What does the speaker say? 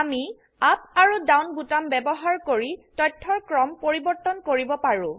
আমি আপ আৰু ডাউন বোতাম ব্যবহাৰ কৰি তথ্যৰ ক্ৰম পৰিবৰ্তন কৰিব পাৰো